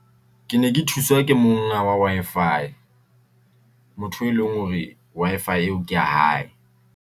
Ke ne ke thuswa ke monga wa Wi-Fi, motho e leng hore Wi-Fi eo ke ya hae.